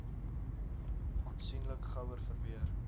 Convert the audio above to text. aansienlik gouer verweer